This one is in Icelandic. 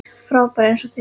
Frábær eins og þér.